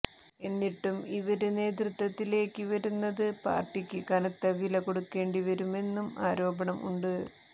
എന്നിട്ടും ഇവര് നേതൃത്വത്തിലേക്ക് വരുന്നത് പാര്ട്ടിക്ക് കനത്ത വിലകൊടുക്കേണ്ടി വരുമെന്നും ആരോപണം ഉണ്ട്